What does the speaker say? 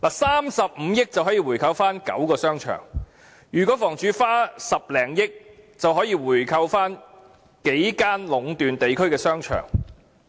三十五億元便可購回9個商場，如果房署花10多億元，便可購回數間壟斷地區的商場。